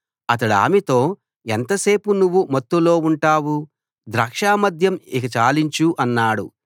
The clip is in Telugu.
అతడామెతో ఎంతసేపు నువ్వు మత్తులో ఉంటావు ద్రాక్ష మద్యం ఇక చాలించు అన్నాడు